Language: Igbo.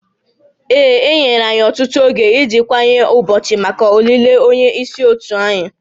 Ee, e nyere anyị ọtụtụ oge iji kanye ụbọchị maka olili onye isi òtù anyị